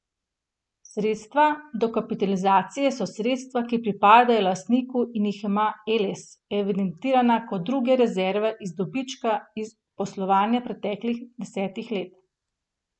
Sredstva dokapitalizacije so sredstva, ki pripadajo lastniku in jih ima Eles evidentirana kot druge rezerve iz dobička iz poslovanja preteklih desetih let.